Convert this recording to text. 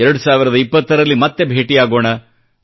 2020 ರಲ್ಲಿ ಮತ್ತೆ ಭೇಟಿಯಾಗೋಣ